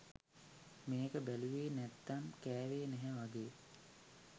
මේක බැලුවේ නැත්නම් කැවේ නැහැ වගේ!